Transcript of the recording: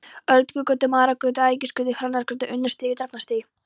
Öldugötu, Marargötu, Ægisgötu, Hrannarstíg, Unnarstíg, Drafnarstíg.